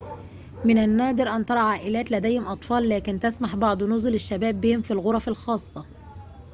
من النادر أن ترى عائلات لديهم أطفال لكن تسمح بعض نُزل الشباب بهم في الغرف الخاصة